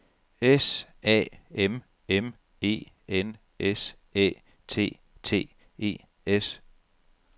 S A M M E N S Æ T T E S